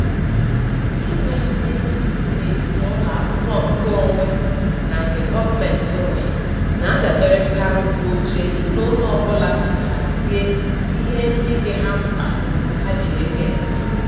Inwe mkpebi n'etiti ụlọakwụkwọ nke onwe na nke gọọmentị nwe na-adaberekarị n'otu ezinaụlọ ọbụla si hazie ihe ndị dị ha mkpa ha ji ego eme.